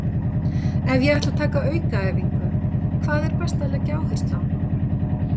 Ef ég ætla að taka aukaæfingu, hvað er best að leggja áherslu á?